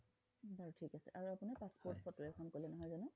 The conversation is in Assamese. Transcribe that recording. হয় ঠিক আছে আৰু আপোনাৰ passport photo এখন কলে নহয় জানো